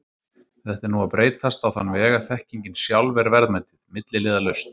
Þetta er nú að breytast á þann veg að þekkingin sjálf er verðmætið, milliliðalaust.